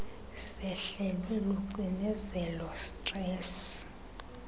sehlelwe lucinezelo stress